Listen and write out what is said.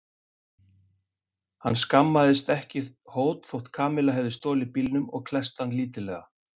Hann skammaðist ekki hót þótt Kamilla hefði stolið bílnum og klesst hann lítillega.